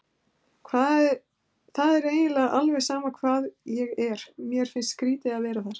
Það er eiginlega alveg sama hvar ég er, mér finnst skrýtið að vera þar.